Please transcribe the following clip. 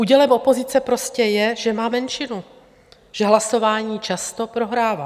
Údělem opozice prostě je, že má menšinu, že hlasování často prohrává.